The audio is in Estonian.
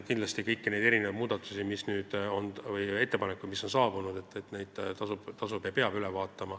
Kindlasti peab üle vaatama ka kõik need muudatused või ettepanekud, mis on saabunud.